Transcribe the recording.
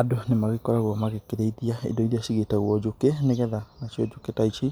Andũ nĩ magĩkoragwo magĩkĩrĩithia indo iria cigĩtagwo njũkĩ nĩgetha nacio njũkĩ ta ici